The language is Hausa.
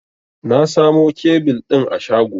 Na samo kebil ɗin a shago.